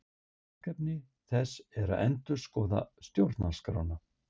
Verkefni þess er að endurskoða stjórnarskrána